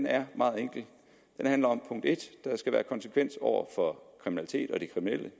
er meget enkel den handler om at der skal være konsekvens over for kriminalitet og de kriminelle